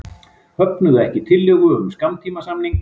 Höfnuðu ekki tillögu um skammtímasamning